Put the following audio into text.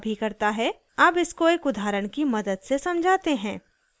अब इसको एक उदाहरण की मदद से समझाते हैं